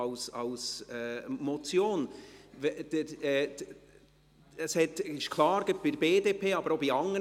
Die punktweise Abstimmung wurde von der BDP verlangt, aber auch von anderen.